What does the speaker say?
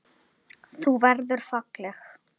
Þú verður falleg.